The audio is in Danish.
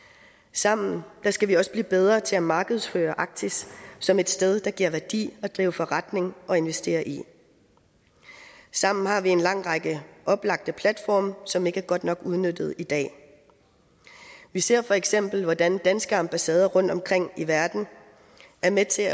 sammen skal vi også blive bedre til at markedsføre arktis som et sted det giver værdi at drive forretning og investere i sammen har vi en lang række oplagte platforme som ikke er godt nok udnyttet i dag vi ser feks hvordan danske ambassader rundt omkring i verden er med til